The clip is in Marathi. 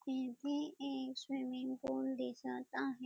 येथे एक स्विमिंग पूल दिसत आहे.